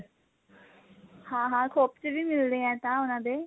ਹਾਂ ਹਾਂ ਖੋਪਚੇ ਵੀ ਮਿਲਦੇ ਨੇ ਐਂ ਤਾਂ ਉਹਨਾਂ ਦੇ